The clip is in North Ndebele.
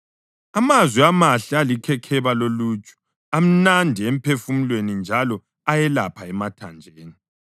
Amazwi amahle alikhekheba loluju, amnandi emphefumulweni njalo ayelapha emathanjeni.